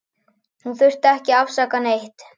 Hún þurfti ekki að afsaka neitt.